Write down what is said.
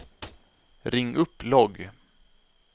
ring upp logg